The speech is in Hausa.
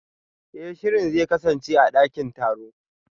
Eh shirin zai kasance a dakin taro